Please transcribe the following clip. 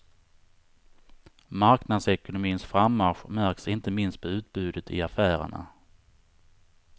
Marknadsekonomins frammarsch märks inte minst på utbudet i affärerna.